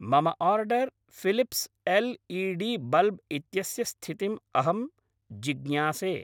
मम order Philips L E D bulb इत्यस्य स्थितिम् अहं जिज्ञासे।